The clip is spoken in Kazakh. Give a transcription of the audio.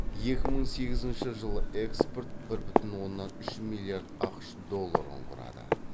екі мың сегізінші жылы экспорт бір бүтін оннан үш миллиард ақш долларын құрады